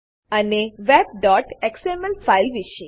અને webએક્સએમએલ ફાઈલ વિશે